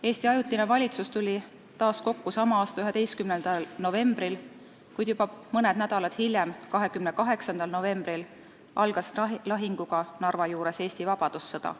Eesti Ajutine Valitsus tuli taas kokku sama aasta 11. novembril, kuid juba mõni nädal hiljem, 28. novembril algas lahinguga Narva juures Eesti vabadussõda.